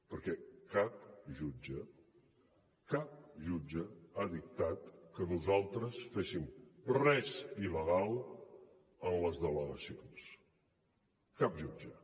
perquè cap jutge cap jutge ha dictat que nosaltres féssim res il·legal a les delegacions cap jutge